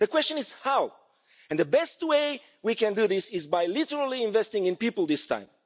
The question is how, and the best way we can do this is by literally investing in people this time.